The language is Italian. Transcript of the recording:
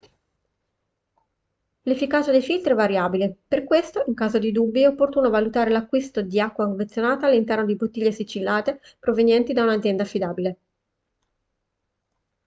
l'efficacia dei filtri è variabile per questo in caso di dubbi è opportuno valutare l'acquisto di acqua confezionata all'interno di bottiglie sigillate provenienti da un'azienda affidabile